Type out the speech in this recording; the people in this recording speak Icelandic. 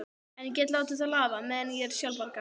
En ég get látið það lafa, meðan ég er sjálfbjarga.